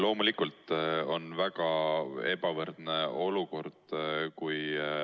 Loomulikult on väga ebavõrdne olukord.